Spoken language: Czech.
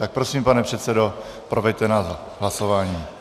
Tak prosím, pane předsedo, proveďte nás hlasováním.